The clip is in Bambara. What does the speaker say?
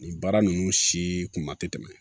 Nin baara ninnu si kuma tɛ tɛmɛ